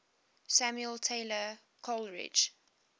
samuel taylor coleridge